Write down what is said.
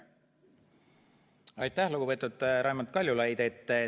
Aitäh, lugupeetud Raimond Kaljulaid!